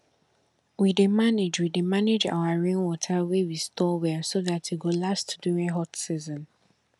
we dey manage we dey manage our rainwater wey we store well so dat e go last during hot season